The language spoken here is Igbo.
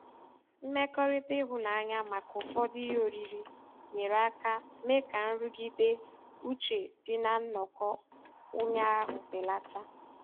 Mmekọrịta ịhụnanya maka ụfọdụ ihe oriri nyere aka mee ka nrụgide uche dị na nnọkọ ụnyaahụ belata.